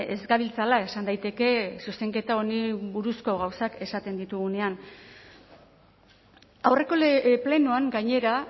ez gabiltzala esan daiteke zuzenketa honi buruzko gauzak esaten ditugunean aurreko plenoan gainera